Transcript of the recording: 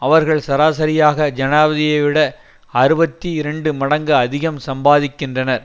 அவர்கள் சராசரியாக ஜனாதிபதியைவிட அறுபத்தி இரண்டு மடங்கு அதிகம் சம்பாதிக்கின்றனர்